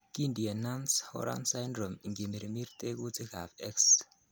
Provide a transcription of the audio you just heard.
Kindie Nance Horan syndrome ingimirmir tekutikab X.